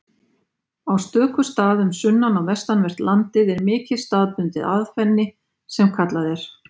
Á stöku stað um sunnan- og vestanvert landið er mikið staðbundið aðfenni sem kallað er.